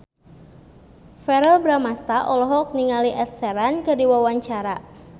Verrell Bramastra olohok ningali Ed Sheeran keur diwawancara